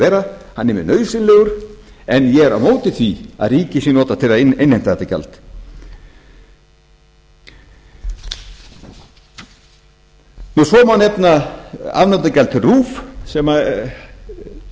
hann er mjög nauðsynlegur en ég er á móti því að ríkið sé notað til að innheimta þetta gjald svo má nefna afnotagjald til rúv sem ég hef